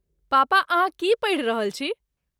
पापा, अहाँ की पढ़ि रहल छी?